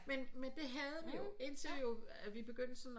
Men men det havde vi jo indtil vi begyndte sådan at